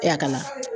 E a ka na